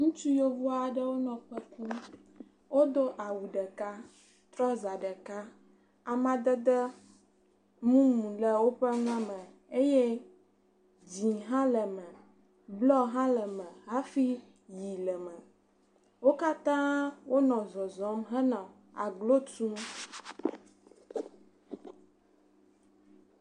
Ŋutsu yevu aɖewo nɔ kpe kum. Wodo awu ɖeka, trɔza ɖeka. Amadede mumu le woƒe nua me eye dzɛ̃ hã le me, blɔ hã le me hafi ʋi le eme. Wo katã wonɔ zɔzɔm henɔ aglo tum.